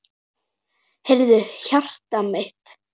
Heyrðu, hjartað mitt.